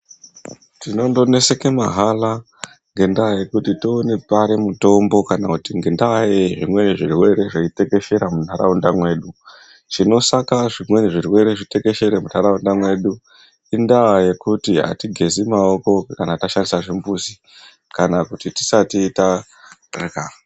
Tinondoneseke mahala ngendaa yekuti toone pari mutombo kana kuti ngendaa yezvimweni zvirwere zveitekeshera muntaraunda medu. Chinosaka zvimweni zvirwere zvitekshere muntaraunda medu indava yekuti atigezi maoko tashandisa zvimbuzi kana kuti atigezi tisati tarya.